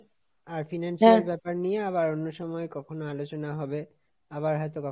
আর এর ব্যাপার নিয়ে আবার অন্য সময় কখনো আলোচনা হবে, আবার হয়তো কখনো,